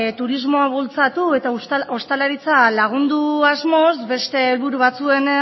turismoa bultzatu eta ostalaritza lagundu asmoz beste helburu batzuen